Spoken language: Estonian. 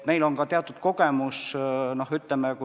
Meil on ka teatud kogemus.